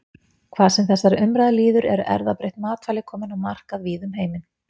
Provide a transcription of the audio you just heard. Hvað sem þessari umræðu líður eru erfðabreytt matvæli komin á markað víða um heiminn.